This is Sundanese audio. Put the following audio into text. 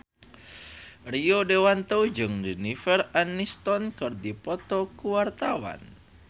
Rio Dewanto jeung Jennifer Aniston keur dipoto ku wartawan